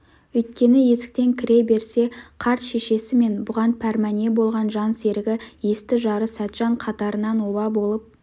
өйткені есіктен кіре берсе қарт шешесі мен бұған пәрмәне болған жан серігі есті жары сәтжан қатарынан оба болып